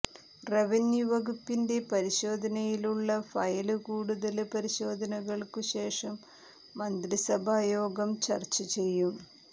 revenue വകുപ്പിന്റെ പരിശോധനയിലുള്ള file കൂടുതല് പരിശോധനകള്ക്കു ശേഷം മന്ത്രിസഭാ യോഗം ചര്ച്ച ചെയ്യും